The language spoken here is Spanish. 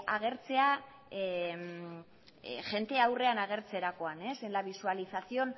agertzea jende aurrean agertzerakoan en la visualización